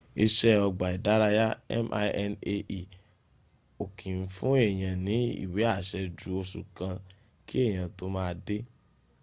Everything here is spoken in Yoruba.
ise ogba idaraya minae o ki n fun eeyan ni iwe ase ju osu kan ki eyan to ma de